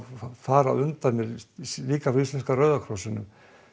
fara á undan mér líka frá íslenska Rauða krossinum